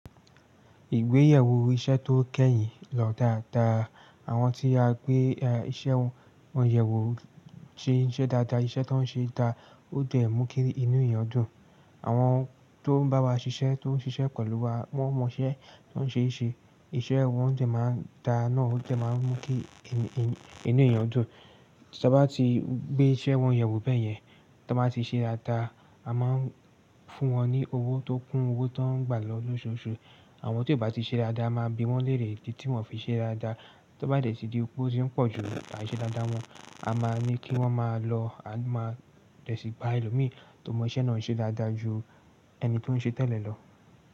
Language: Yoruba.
Ìgbéyèwò iṣẹ́ tó kẹ́yìn lọ dáadáa. Àwọn tí a gbé iṣẹ́ wọn, wọ́n yẹ̀wò ṣe iṣẹ́ dáadáa, iṣẹ́ tó ń ṣe dáa ó dẹ̀ mú ki inú eyan dun. Àwọn tó ń bá wa ṣiṣẹ́, tó ń ṣiṣẹ́ pẹ̀lú wa, wọ́n mọ iṣẹ́ tó ń ṣe ṣe, iṣẹ́ wọn dẹ̀ máa ń dá náà ó dẹ̀ máa ń mú kí inú eyan dun. Tí a bá ti gbé iṣẹ́ wọn yẹ̀wò bẹ́ẹ̀ yẹn, tí wọ́n bá ti ṣe dáadáa, a máa ń fún wọn ní owó tó kún owó tó ń gbà lọ lóṣooṣù. Àwọn tí ò bá ti ṣe dáadáa a máa bi wọ́n lérè idi tí wọ́n fi ṣe dáadáa. Tí ó bá dẹ̀ tí di pé ó ti ń pọ̀ ju àìṣẹ̀ dáadáa wọn, a máa ní kí wọ́n máa lọ, a máa dẹ̀ sì gba ẹlòmíì tó mọ iṣẹ́ náà ṣe dáadáa ju ẹni tí ó ń ṣe tẹ́lẹ̀ lọ.